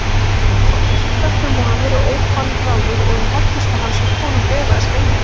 Þorgils er sterkur maður og ókvalráður og um hollustu hans við konung efaðist enginn.